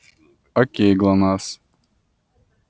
окей глонассс